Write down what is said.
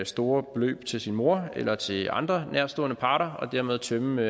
store beløb til sin mor eller til andre nærtstående parter og dermed tømme